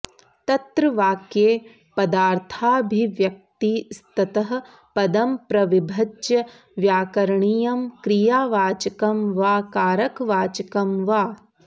तत्र वाक्ये पदार्थाभिव्यक्तिस्ततः पदं प्रविभज्य व्याकरणीयं क्रियावाचकं वा कारकवाचकं वा